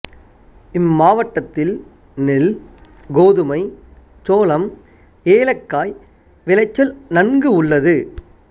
இம்மாவட்டத்தில் நெல் கோதுமை சோளம் ஏலக்காய் விளைச்சல் நன்கு உள்ளது